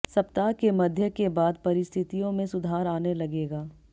सप्ताह के मध्य के बाद परिस्थितियों में सुधार आने लगेगा